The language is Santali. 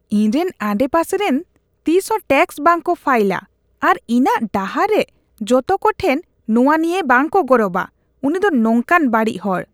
ᱤᱧᱨᱮᱱ ᱟᱰᱮᱯᱟᱥᱮᱨᱮᱱ ᱛᱤᱥᱦᱚᱸ ᱴᱮᱠᱥ ᱵᱟᱝᱠᱚ ᱯᱷᱟᱭᱤᱞ ᱟ ᱟᱨ ᱤᱧᱟᱜ ᱰᱟᱦᱟᱨᱨᱮ ᱡᱚᱛᱚᱠᱚ ᱴᱷᱮᱱ ᱱᱚᱣᱟ ᱱᱤᱭᱟᱹ ᱵᱟᱝᱠᱚ ᱜᱚᱨᱚᱵᱼᱟ ᱾ ᱩᱱᱤ ᱫᱚ ᱱᱚᱝᱠᱟᱱ ᱵᱟᱹᱲᱤᱡ ᱦᱚᱲ ᱾